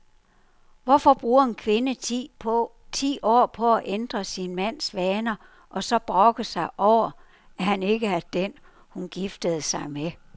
Hvorfor bruger en kvinde ti år på at ændre sin mands vaner og så brokke sig over, han ikke er den, hun giftede sig med?